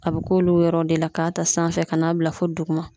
A bɛ k'olu yɔrɔw de la k'a ta sanfɛ ka n'a bila fo duguma